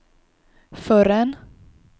förrän